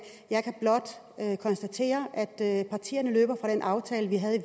jeg kan blot konstatere at partierne løber fra den aftale vi havde